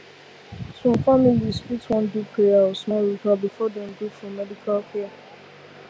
some families fit wan do prayer or small ritual before dem gree for medical care